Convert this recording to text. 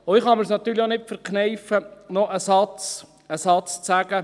Ich kann es mir natürlich auch nicht verkneifen, noch einen Satz zu sagen.